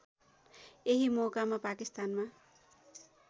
यही मौकामा पाकिस्तानमा